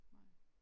Nej